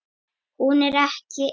Hún er ekki ein.